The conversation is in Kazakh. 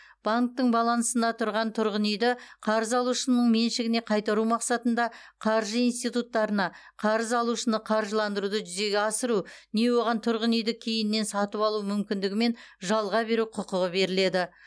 банктің балансында тұрған тұрғын үйді қарыз алушының меншігіне қайтару мақсатында қаржы институттарына қарыз алушыны қаржыландыруды жүзеге асыру не оған тұрғын үйді кейіннен сатып алу мүмкіндігімен жалға беру құқығы беріледі